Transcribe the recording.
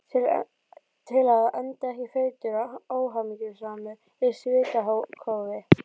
Til að enda ekki feitur og óhamingjusamur í svitakófi.